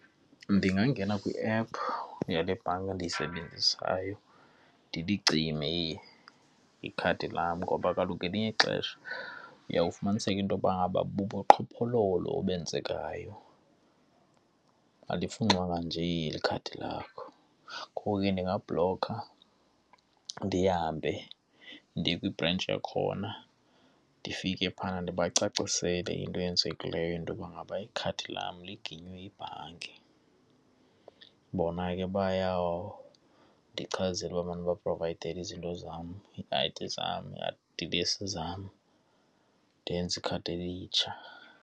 Ndingangena kwiephu yale bhanki endiyisebenzisayo, ndilicime ikhadi lam ngoba kaloku ngelinye ixesha uyawufumaniseka intoba ngaba bubuqhophololo obenzekayo, alifunxwanga nje ikhadi lakho. Ngoko ke ndingabhlokha ndihambe ndiye kwibhrentshi yakhona, ndifike phayana ndibacacisele into eyenzekileyo intoba ngaba ikhadi card lam liginyiwe yibhanki. Bona ke bayawundichazela uba mandibaprovayidele izinto zam, ii-I_D zam, iidilesi zam ndenze ikhadi elitsha.